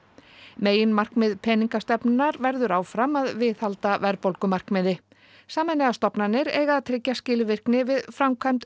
meginmarkmið peningastefnunnar verður áfram að viðhalda verðbólgumarkmiði sameinaðar stofnanir eiga að tryggja skilvirkni við framkvæmd